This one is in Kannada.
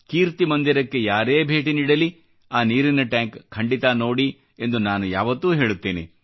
ಕೀರ್ತಿ ಮಂದಿರಕ್ಕೆ ಯಾರೇ ಭೇಟಿ ನೀಡಲಿ ಆ ನೀರಿನ ಟ್ಯಾಂಕ್ ಖಂಡಿತ ನೋಡಿ ಎಂದು ನಾನು ಯಾವತ್ತೂ ಹೇಳುತ್ತೇನೆ